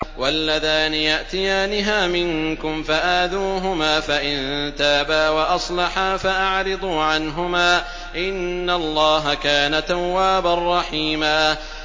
وَاللَّذَانِ يَأْتِيَانِهَا مِنكُمْ فَآذُوهُمَا ۖ فَإِن تَابَا وَأَصْلَحَا فَأَعْرِضُوا عَنْهُمَا ۗ إِنَّ اللَّهَ كَانَ تَوَّابًا رَّحِيمًا